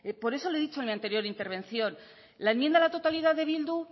por eso le he dicho en mi anterior intervención la enmienda a la totalidad de bildu